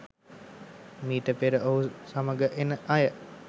මීට පෙර ඔහු සමග එන අය